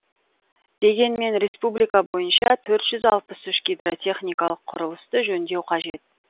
дегенмен республика бойынша төрт жүз алпыс үш гидротехникалық құрылысты жөндеу қажет